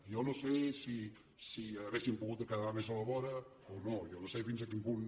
jo no sé si hauríem pogut quedar més a la vora o no jo no sé fins a quin punt